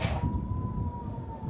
Sən ol!